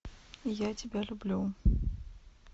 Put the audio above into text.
я тебя люблю